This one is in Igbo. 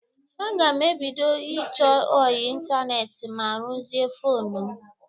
Aga m ebido ịchọ ọyị ịntaneetị ma rụzisie fonu m.